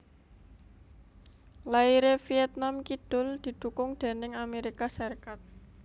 Lairé Vietnam Kidul didhukung déning Amérika Sarékat